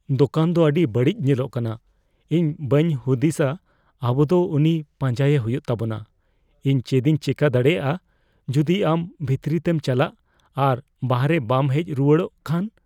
ᱫᱳᱠᱟᱱ ᱫᱚ ᱟᱹᱰᱤ ᱵᱟᱹᱲᱤᱡ ᱧᱮᱞᱚᱜ ᱠᱟᱱᱟ ᱾ ᱤᱧ ᱵᱟᱹᱧ ᱦᱩᱫᱤᱥᱟ ᱟᱵᱚ ᱫᱚ ᱩᱱᱤ ᱯᱟᱸᱡᱟᱭᱮ ᱦᱩᱭᱩᱜ ᱛᱟᱵᱚᱱᱟ ᱾ ᱤᱧ ᱪᱮᱫᱤᱧ ᱪᱮᱠᱟ ᱫᱟᱲᱮᱭᱟᱜᱼᱟ ᱡᱩᱫᱤ ᱟᱢ ᱵᱷᱤᱛᱨᱤᱛᱮᱢ ᱪᱟᱞᱟᱜ ᱟᱨ ᱵᱟᱦᱨᱮ ᱵᱟᱢ ᱦᱮᱡ ᱨᱩᱣᱟᱹᱲᱚᱜ ᱠᱷᱟᱱ ?